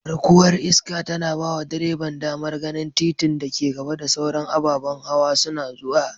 Garkuwar iska tana bawa direban damar ganin titin da ke gaba da sauran ababan hawa suna zuwa.